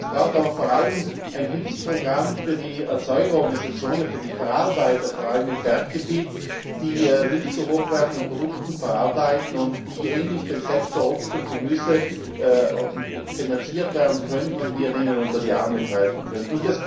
Es braucht aber vor allem ein Hilfsprogramm für die Erzeugerorganisationen, für die Verarbeiter, vor allem im Berggebiet, die Milch zu hochwertigen Produkten verarbeiten und die ähnlich dem Sektor Obst und Gemüse finanziert werden könnten und denen wir unter die Arme greifen könnten.